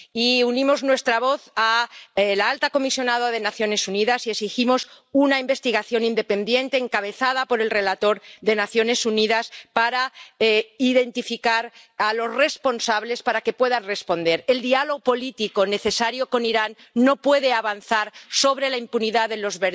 Y unimos nuestra voz a la de la alta comisionada de las Naciones Unidas y exigimos una investigación independiente, encabezada por el relator de las Naciones Unidas, para identificar a los responsables, para que puedan responder. El diálogo político necesario con Irán no puede avanzar sobre la impunidad de los